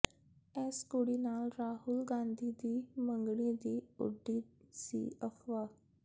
ਇਸ ਕੁੜੀ ਨਾਲ ਰਾਹੁਲ ਗਾਂਧੀ ਦੀ ਮੰਗਣੀ ਦੀ ਉੱਡੀ ਸੀ ਅਫਵਾਹ